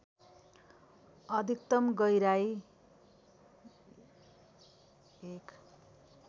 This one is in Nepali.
अधिकतम गहिराई १